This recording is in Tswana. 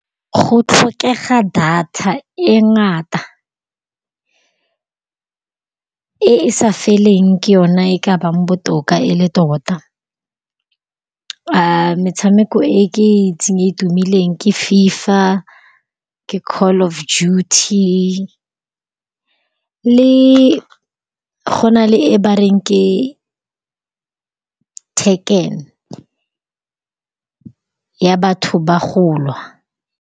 Go tlhokega data e ngata e e sa feleng ke yona e ka bang botoka e le tota. Metshameko e ke e itseng e tumileng ke Fifa, ke Call of Duty le go na le e bareng ke Tekken, ya batho ba go lwa.